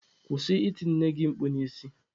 Kwụsị iti nne gị mkpu n'isi!.